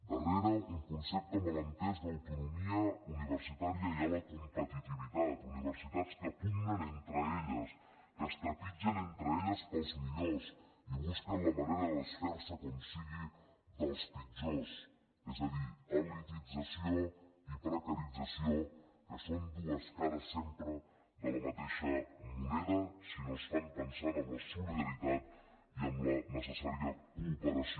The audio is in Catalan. darrere un concepte mal entès d’autonomia universitària hi ha la competitivitat universitats que pugnen entre elles que es trepitgen entre elles pels millors i que busquen la manera de desfer se com sigui dels pitjors és a dir elitització i precarització que són dues cares sempre de la mateixa moneda si no es fan pensant en la solidaritat i en la necessària cooperació